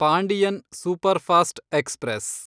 Pandian superfast express